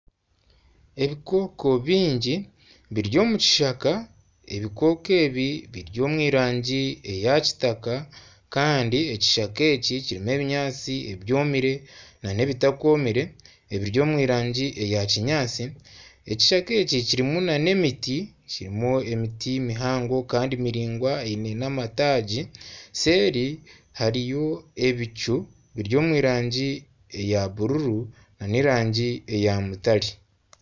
Ebiconco bingi biri omu kishaka, ebiconco ebi biri omu rangi eya kitaka kandi ekishaka eki kirimu ebinyaatsi ebyomire n'ebitakomire ebiri omu rangi ya kinyaatsi, ekishaka eki kirimu n'emiti kirimu emiti mihango kandi miraingwa eine n'amatagi seeri hariyo ebicu biri omu rangi eya buruuru n'erangi eya mutare.